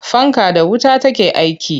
Fanka da wuta take aiki.